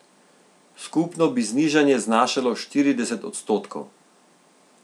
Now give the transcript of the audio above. Skupno bi znižanje znašalo štirideset odstotkov.